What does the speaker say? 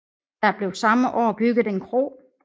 Der blev samme år bygget en kro